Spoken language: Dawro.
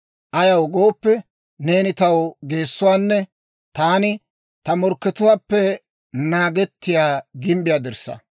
Ayaw gooppe, neeni taw geessuwaanne taani ta morkkatuwaappe naagettiyaa gimbbiyaa dirssaa.